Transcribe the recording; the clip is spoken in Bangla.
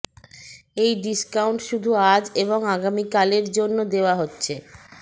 এই ডিসকাউন্ট শুধু আজ এবং আগামীকাল এর জন্য দেওয়া হচ্ছে